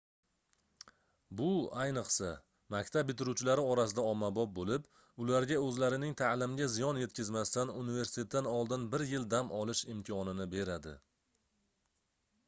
bu ayniqsa maktab bitiruvchilari orasida ommabop boʻlib ularga oʻzlarining taʼlimiga ziyon yetkazmasdan universitetdan oldin bir yil dam olish imkonini beradi